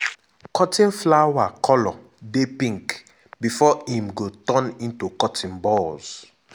cotton flower colour dey pink before im go turn into cotton bolls.